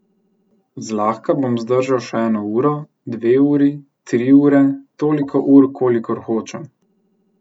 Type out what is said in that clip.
Zlahka bom zdržal še eno uro, dve uri, tri ure, toliko ur, kolikor hočem.